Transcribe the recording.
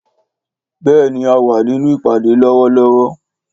Béèni a wá nínú ìpàdé lówó lówó